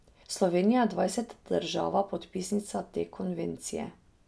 Slovenija je dvajseta država podpisnica te konvencije.